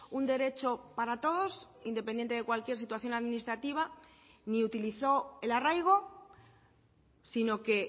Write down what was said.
un derecho para todos independiente de cualquier situación administrativa ni utilizó el arraigo sino que